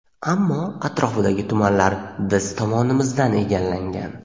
ammo atrofidagi tumanlar biz tomonimizdan egallangan.